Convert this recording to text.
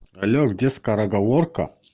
алло где скороговорка